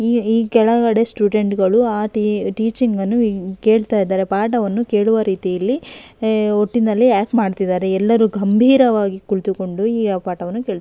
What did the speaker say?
ಈ ಕೆಳಗಡೆ ಸ್ಟುಡೆಂಟ್ಗಳು ಆ ಟಿ-ಟೀಚಿಂಗ್ ಅನ್ನು ಕೇಳ್ತಾ ಇದಾರೆ ಪಾಠವನ್ನು ಕೇಳುವ ರೀತಿಯಲ್ಲಿ ಒಟ್ಟಿನಲ್ಲಿ ಆಕ್ಟ್ ಮಾಡ್ತಾ ಇದಾರೆ ಎಲ್ಲರೂ ಗಂಭೀರವಾಗಿ ಕುಳಿತುಕೊಂಡು ಈ ಪಾಠವನ್ನು ಕೇಳ್--